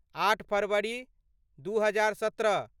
आठ फरवरी दू हजार सत्रह